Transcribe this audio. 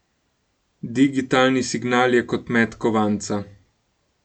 Digitalni signal je kot met kovanca.